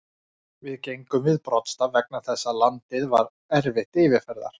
Við gengum við broddstaf vegna þess að landið var erfitt yfirferðar.